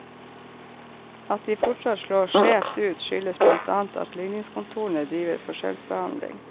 At de fortsatt slår skjevt ut, skyldes blant annet at ligningskontorene driver forskjellsbehandling.